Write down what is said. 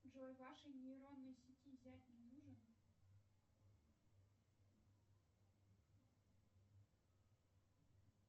джой вашей нейронной сети зять не нужен